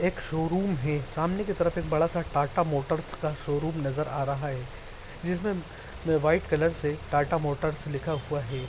एक शोरूम है । सामने की तरफ एक बड़ा सा टाटा मोटर्स का शोरूम नज़र आ रहा है। जिसमे व्हाइट कलर से टाटा मोटर्स लिखा हुआ है।